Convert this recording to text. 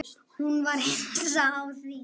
Hún var hissa á því.